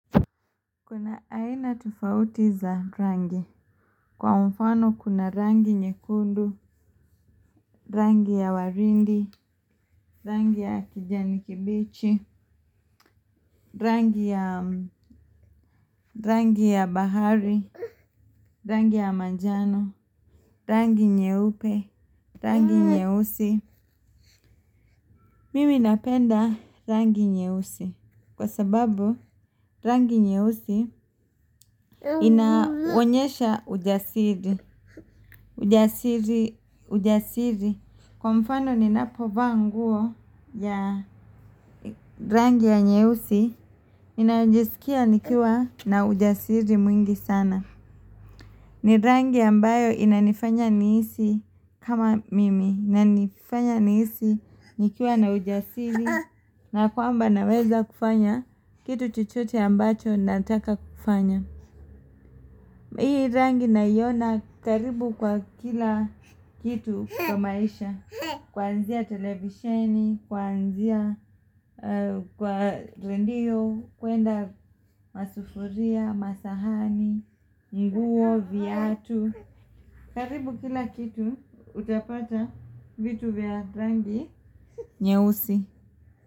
Kuna aina tofauti za rangi. Kwa mfano kuna rangi nyekundu, rangi ya waridi, rangi ya kijani kibichi, rangi ya bahari, rangi ya manjano, rangi nyeupe, rangi nyeusi. Mimi napenda rangi nyeusi kwasababu rangi nyeusi inaonyesha ujasiri. Ujasiri Ujasiri. Kwa mfano ninapovaa nguo ya rangi ya nyeusi ninajiskia nikiwa na ujasiri mwingi sana. Ni rangi ambayo inanifanya nihisi kama mimi inanifanya nihisi nikiwa na ujasiri na kwamba naweza kufanya kitu chochote ambacho nataka kufanya. Hii rangi naiona karibu kwa kila kitu kwa maisha. Kwanzia televisheni, kwanzia kwa redio, kwenda masufuria, masahani, nguo, viatu. Karibu kila kitu utapata vitu vya rangi nyeusi.